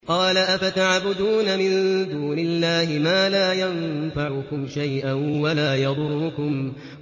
قَالَ أَفَتَعْبُدُونَ مِن دُونِ اللَّهِ مَا لَا يَنفَعُكُمْ شَيْئًا وَلَا يَضُرُّكُمْ